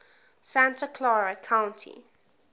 santa clara county